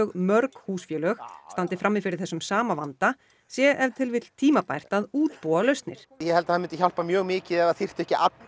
mörg húsfélög standi frammi fyrir þessum sama vanda sé ef til vill tímabært að útbúa lausnir ég held að það myndi hjálpa mjög mikið ef það þyrftu ekki allir